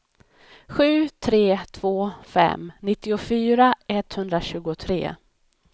sju tre två fem nittiofyra etthundratjugotre